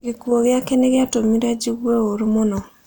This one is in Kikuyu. Gĩkuũ gĩake nĩ gĩatũmire njigue ũũru mũno